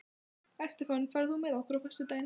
Estefan, ferð þú með okkur á föstudaginn?